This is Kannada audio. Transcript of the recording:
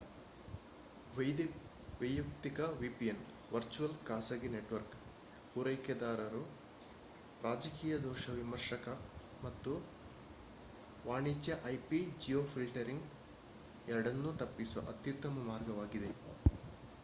ವೈಯಕ್ತಿಕ vpn ವರ್ಚುವಲ್ ಖಾಸಗಿ ನೆಟ್‌ವರ್ಕ್ ಪೂರೈಕೆದಾರರು ರಾಜಕೀಯ ದೋಷ ವಿಮರ್ಶಕ ಮತ್ತು ವಾಣಿಜ್ಯ ip-geofiltering ಎರಡನ್ನೂ ತಪ್ಪಿಸುವ ಅತ್ಯುತ್ತಮ ಮಾರ್ಗವಾಗಿದೆ